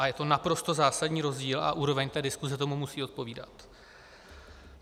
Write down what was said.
A je to naprosto zásadní rozdíl a úroveň té diskuse tomu musí odpovídat.